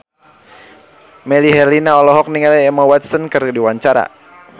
Melly Herlina olohok ningali Emma Watson keur diwawancara